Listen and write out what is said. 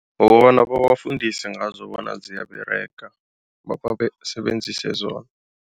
Ngokobana babafundise ngazo bona ziyaberega basebenzise zona.